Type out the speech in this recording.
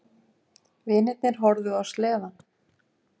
Vinirnir horfðu á sleðann.